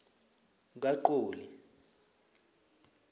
kaqoli